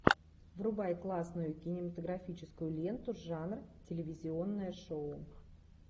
врубай классную кинематографическую ленту жанр телевизионное шоу